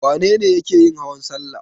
Wane ne yake yin hawan salla?